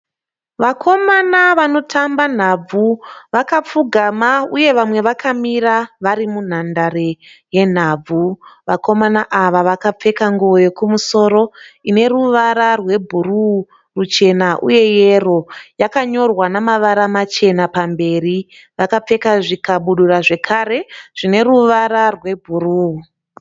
Vakomana vanotamba nhabvu vakapfugama uye vamwe vakamira vari munhandare yenhabvu. Vakomana ava vakapfeka nguo yekumusoro ine ruwara rwe bhuruu ruchena uye yero. Yakanyorwa namawara machena pamberi. Vakapfeka zvikabudura zvekare zvine ruwara zvebhuruu.